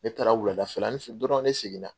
Ne taara wulada fɛlanin fɛ dɔrɔn ne segin na.